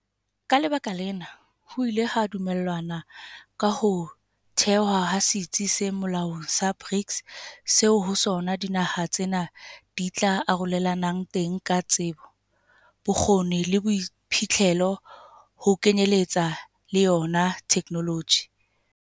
Ka lebaka lena, ho ile ha dumellanwa ka ho thehwa ha setsi se molaong sa BRICS seo ho sona dinaha tsena di tla arorelanang teng ka tsebo, bokgoni le boiphihlelo ho kenyeletsa le yona thekenoloji.